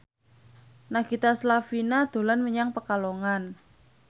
Nagita Slavina dolan menyang Pekalongan